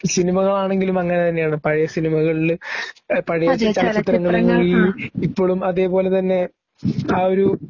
സിനിമകളാണെങ്കിലും അങ്ങനെത്തന്നെയാണ് പഴയ സിനിമകളില് പഴയ ചലച്ചിത്രങ്ങളില് ഇപ്പോഴും അതേപോലെ തന്നെ ആ ഒരു